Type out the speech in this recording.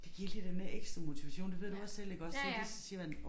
Det giver lige den der ekstra motivation det ved du også selv iggås så de siger man